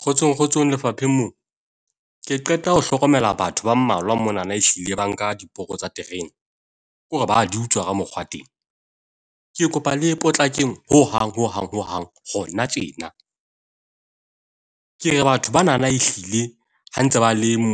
Kgotsong kgotsong lefapheng moo. Ke qeta ho hlokomela batho ba mmalwa monana ehlile ba nka diporo tsa terene, ke hore ba di utswa ka mokgwa teng. Ke kopa le potlakeng hohang hohang hohang hona tjena. Ke re batho banana ehlile ha ntse ba le mo